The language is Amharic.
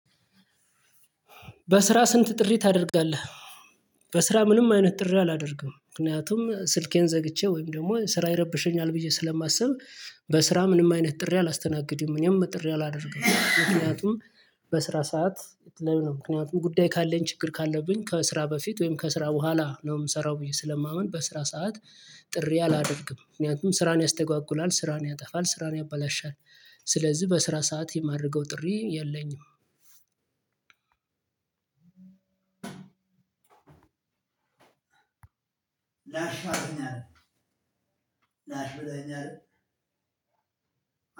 "በስራ ስንት ጥሪ ታደርጋለህ?" በስራ ምንም አይነት ጥሪ አላደርግም። ምክንያቱም ስልኬን ዘግቼ ወይም ደግሞ ስራ ይረብሸኛል ብዬ ስለማስብ በስራ ምንም አይነት ጥሪ አላስተናግድም፤ እኔም ጥሪ አላደርግም። ምክኛቱም በስራ ሰዓት የተለያዩ ምክንያቱም ጉዳይ ካለኝ ችግር ካለብኝ ከስራ በፊት ወይም ከስራ በኋላ ነው የምሰራው ብዬ ስለማምን በስራ ሰዓት ጥሪ አላደርግም። ምክንያቱም ስራን ያስተጓጉላል፣ ስራን ያጠፋል፣ ስራን ያበላሻል። ስለዚህ በስራ ሰዓት የማደርገው ጥሪ የለኝም። ላሻፍኛል ላሽ ብለኅኛል